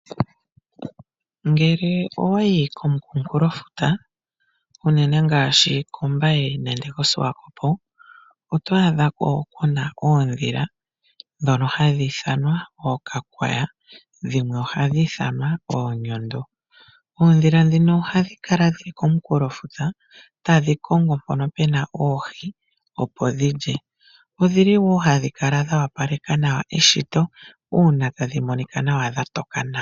Ngele owayi komukunkulo futa ,unene ngaashi kOmbaye nenge koSwakopo oto adha ko kuna oodhila ,dhono hadhi ithanwa ookakwaya dhimwe ohadhi ithanwa oonyondo. Oodhila dhino ohadhi kala dhili komukunkulo futa tadhi kongo mpono pena oohi opo dhi lye . Odhili woo hadhi kala dha wapaleka nawa eshito uuna tadhi monika dha toka nawa.